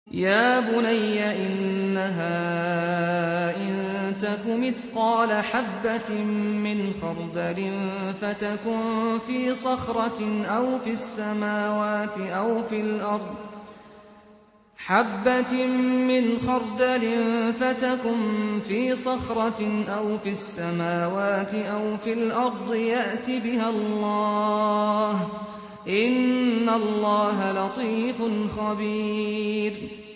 يَا بُنَيَّ إِنَّهَا إِن تَكُ مِثْقَالَ حَبَّةٍ مِّنْ خَرْدَلٍ فَتَكُن فِي صَخْرَةٍ أَوْ فِي السَّمَاوَاتِ أَوْ فِي الْأَرْضِ يَأْتِ بِهَا اللَّهُ ۚ إِنَّ اللَّهَ لَطِيفٌ خَبِيرٌ